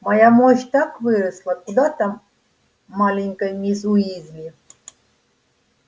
моя мощь так выросла куда там маленькой мисс уизли